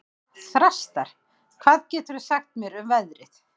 Þrastar, hvað geturðu sagt mér um veðrið?